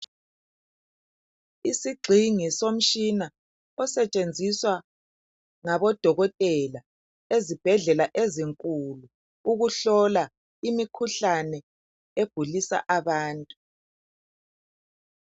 Isigxingi somtshina osetshenziswa ngabodokotela ezibhedlela ezinkulu ukuhlola imikhuhlane egulisa abantu.